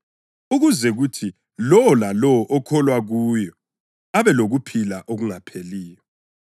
ukuze kuthi lowo lalowo okholwa kuyo abe lokuphila okungapheliyo.”